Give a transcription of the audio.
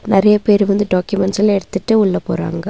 நெறைய பேர் வந்து டாக்கியூமெண்ட்ஸ் எல்லா எடுத்துட்டு உள்ள போறாங்க.